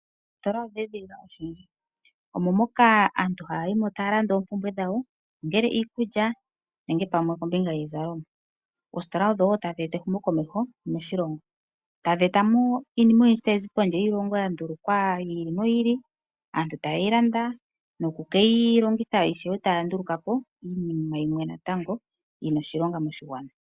Oositola odheedhilila oshindji. Omo moka aantu haya yi mo taya landa oompumbwe dhawo ongele iikulya nenge pamwe okombinga yiizalomwa. Oositola odhowo tadhi eta ehumokomeho moshilongo. Tadhi eta iinima oyindji tayi zi pondje yiilongo ya ndulukwa yi ili noyi ili aantu taye yi landa noku keyilongitha ishewe taya nduluka po iinima yimwe yina oshilonga moshigwana.